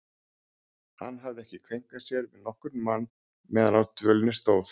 Hann hafði ekki kveinkað sér við nokkurn mann meðan á dvölinni stóð.